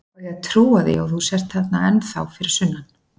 Á ég að trúa því að þú sért ennþá þarna fyrir sunnan?